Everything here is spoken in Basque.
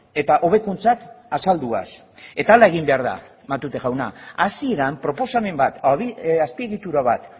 eta hobekuntzak azalduaz eta hala egin behar da matute jauna hasieran proposamen bat azpiegitura bat